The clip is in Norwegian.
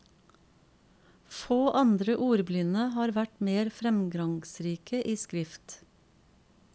Få andre ordblinde har vært mer fremgangsrike i skrift.